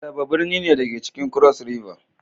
Calabar birni ne, da ke cikin cross river